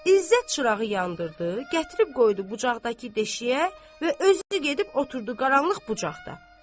İzzət çurağı yandırdı, gətirib qoydu bucaqdakı deşiyə və özü gedib oturdu qaranlıq bucaqda.